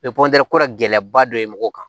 gɛlɛyaba dɔ ye mɔgɔw kan